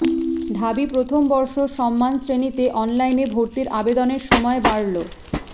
ঢাবি প্রথম বর্ষ সম্মান শ্রেণিতে অনলাইনে ভর্তির আবেদনের সময় বাড়লো